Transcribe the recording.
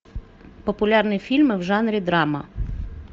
популярные фильмы в жанре драма